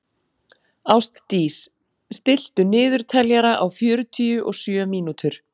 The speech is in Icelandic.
Ástdís, stilltu niðurteljara á fjörutíu og sjö mínútur.